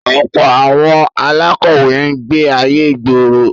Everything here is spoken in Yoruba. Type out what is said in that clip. Ọ̀pọ̀ àwọn alákọ̀wé ń gbé ayé ìgboro.